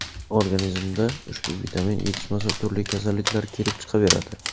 Organizmda ushbu vitamin yetishmasa turli kasalliklar kelib chiqaveradi.